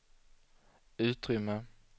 utrymme